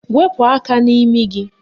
Wepu aka n'imi gị!